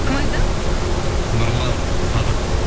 кім айтады нұрлан садық